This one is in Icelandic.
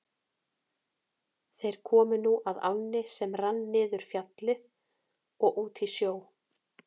Þeir komu nú að ánni sem rann niður Fjallið og út í sjó.